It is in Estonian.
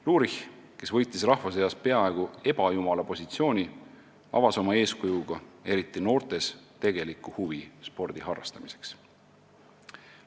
Lurich, kes võitis rahva seas peagu ebajumala positsiooni, avas oma eeskujuga eriti noortes tegeliku huvi spordi harrastamiseks.